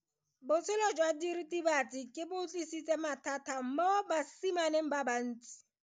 Botshelo jwa diritibatsi ke bo tlisitse mathata mo basimaneng ba bantsi.